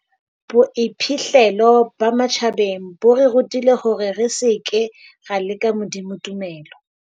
Boiphihlelo ba matjhabeng bo re rutile hore re seke ra leka Modimo tumelo.